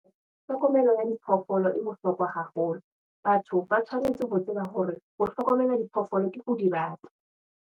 Tlhokomelo ya diphoofolo e bohlokwa haholo. Batho ba tshwanetse ho tseba hore ho hlokomela diphoofolo ke ho di rata.